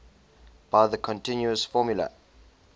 by the continuous formula